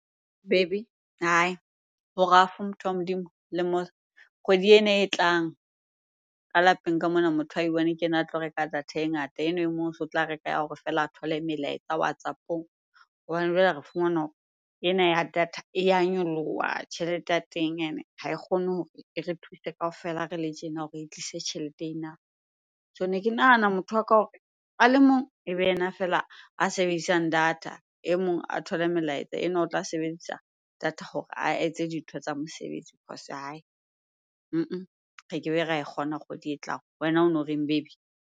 Baby? hai! Ho rough motho wa Modimo. Kgwedi ena e tlang ka lapeng ka mona, motho a i-one ke ena a tlo reka data e ngata, enwa e mong so tla reka ya hore feela a thole melaetsa WhatsApp-ong. Hobane jwale re fumana hore ena ya data e ya nyoloha. Tjhelete ya teng ene ha e kgone hore e re thuse kaofela re le tjena hore e tlise tjhelete ena. So ne ke nahana motho wa ka hore a le mong ebe yena feela a sebedisang data, e mong a thole melaetsa, enwa o tla sebedisa data hore a etse dintho tsa mosebetsi . Re kebe ra e kgona kgwedi e tlang. Wena ono reng baby?